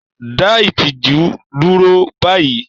Dá ìtìjú dúró báyìí!